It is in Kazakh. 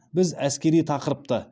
біз әскери тақырыпты